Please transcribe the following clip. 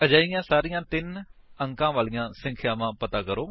ਅਜਿਹੀਆਂ ਸਾਰੀਆਂ ਤਿੰਨ ਅੰਕਾਂ ਵਾਲੀਆਂ ਸੰਖਿਆਵਾਂ ਪਤਾ ਕਰੋ